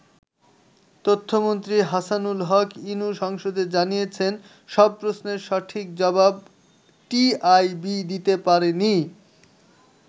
তথ্য মন্ত্রী হাসানুল হক ইনু সংসদে জানিয়েছেন, সব প্রশ্নের সঠিক জবাব টিআইবি দিতে পারে নি।